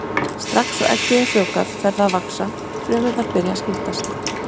Strax og eggið er frjóvgað fer það að vaxa, frumurnar byrja að skiptast.